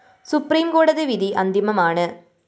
supreme കോടതി വിധി അന്തിമമാണ്